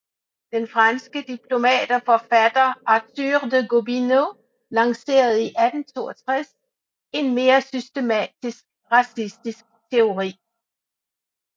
Den franske diplomat og forfatter Arthur de Gobineau lancerede i 1862 en mere systematisk racistisk teori